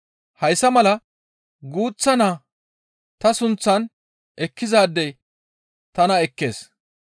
Hayssa mala guuththa naa ta sunththan ekkizaadey tana ekkees.